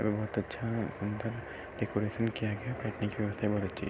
बोहोत अच्छा डे डेकरैशन किया गया --